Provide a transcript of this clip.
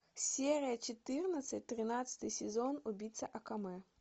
серия четырнадцать тринадцатый сезон убийца акаме